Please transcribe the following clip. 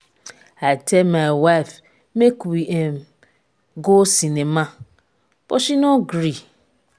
i tell my wife make we um go cinema but she no gree